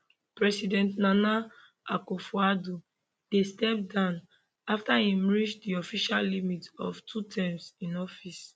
president nana akufoaddo dey step down afta im reach di official limit of two terms in office